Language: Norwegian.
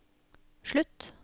slutt